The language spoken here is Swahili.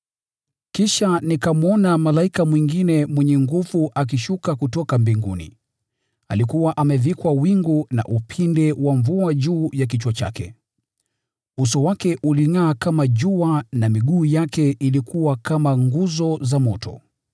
Kisha nikamwona malaika mwingine mwenye nguvu akishuka kutoka mbinguni. Alikuwa amevikwa wingu na upinde wa mvua juu ya kichwa chake. Uso wake ulingʼaa kama jua na miguu yake ilikuwa kama nguzo za moto.